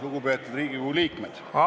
Lugupeetud Riigikogu liikmed!